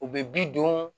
U bɛ bi don